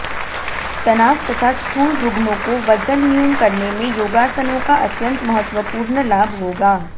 तनाव तथा स्थूल रुग्णोंको वजन न्यून करनेमें योगासनोंका अत्यंत महत्त्वपूर्ण लाभ होगा